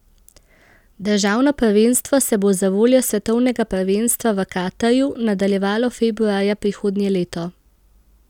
Državno prvenstvo se bo zavoljo svetovnega prvenstva v Katarju nadaljevalo februarja prihodnje leto.